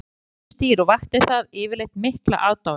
Hann gat breytt sér í ýmis dýr og vakti það yfirleitt mikla aðdáun.